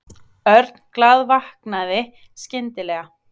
Örn glaðvaknaði skyndilega.